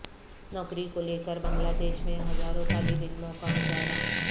نوکری کو لیکر بنگلہ دیش میں ہزاروں طالب علموں کا مظاہرہ